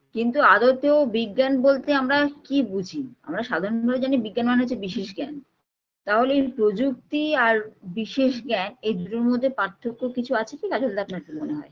কিন্তু আদতেও বিজ্ঞান বলতে আমরা কী বুঝি আমরা সাধারণ ভাবে জানি বিজ্ঞান মানে হচ্ছে বিশেষ জ্ঞান তাহলে এই প্রযুক্তি আর বিশেষ জ্ঞান এই দুটোর মধ্যে পার্থক্য কিছু আছে কী কাজলদা আপনার কী মনে হয়